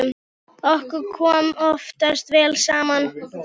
Okkur kom oftast vel saman.